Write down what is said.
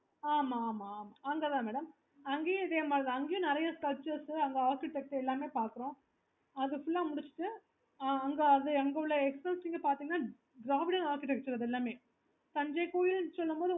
ஆமா ஆமா ஆமா அங்க தான் madam அங்கேயும் இதே மாதிரி தான் அங்கேயும் நிறைய sculptures அங்க architecture எல்லாமே பாக்குறோம் அதா முடிச்சிட்டு அங்க உள்ள